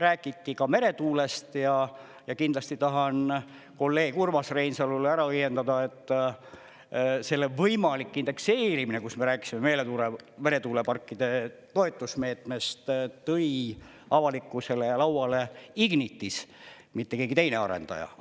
Räägiti ka meretuulest ja kindlasti tahan kolleeg Urmas Reinsalule ära õiendada, et selle võimalik indekseerimine, kus me rääkisime meretuuleparkide toetusmeetmest, tõi avalikkusele ju lauale Ignitis, mitte keegi teine arendaja.